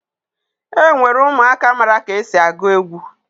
E nwere ụmụaka mara ka esi agụ egwu